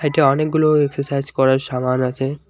এইটা অনেকগুলো এক্সাসাইজ করার সামান আছে।